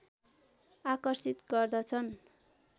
आकर्षित गर्दछन्।